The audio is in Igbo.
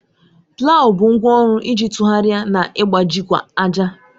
Plawu bụ ngwá ọrụ iji tụgharịa na ịgbajikwa ájà.